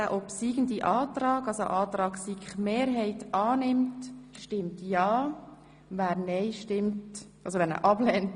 Sie haben dem Antrag von SiK-Mehrheit und Regierungsrat den Vorzug gegeben.